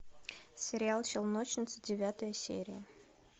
сериал челночницы девятая серия